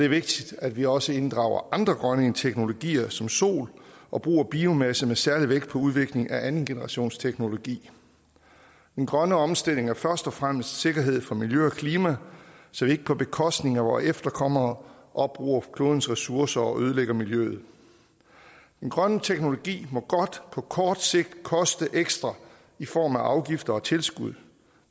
vigtigt at vi også inddrager andre grønne teknologier som sol og brug af biomasse med særlig vægt på udviklingen af andengenerationsteknologi den grønne omstilling er først og fremmest sikkerhed for miljø og klima så vi ikke på bekostning af vore efterkommere opbruger klodens ressourcer og ødelægger miljøet den grønne teknologi må godt på kort sigt koste ekstra i form af afgifter og tilskud